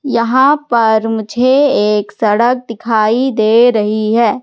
यहां पर मुझे एक सड़क दिखाई दे रही है।